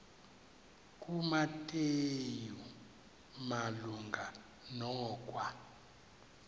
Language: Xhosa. kumateyu malunga nokwa